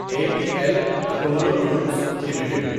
a P L Apollo tubes limited